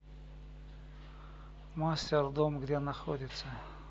мастер дом где находится